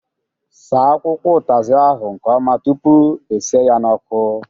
Saa akwụkwọ utazi ahụ nke ọma tụpụ e sie ya n'ọkụ!